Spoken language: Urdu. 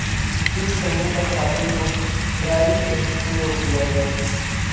جینس پہننے پر خاتون کو ڈرائیونگ ٹسٹ سے روک دیا گیا